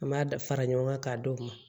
An b'a da fara ɲɔgɔn kan k'a d'o ma